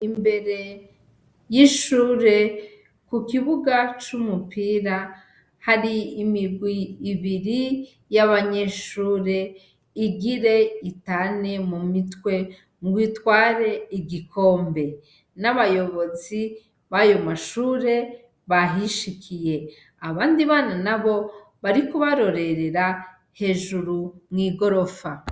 Imbere y'ishure, ku kibuga c'umupira, hari imigwi ibiri y'abanyeshure igira itane mu mitwe ngo itware igikombe. N'abayobozi b'ayo mashure bahishikiye, abandi bana nabo bariko barorerera hejuru mw'igorofa.